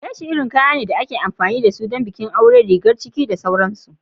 Leshi irin kaya ne da ake amfani da su don bikin aure, rigar ciki da sauransu.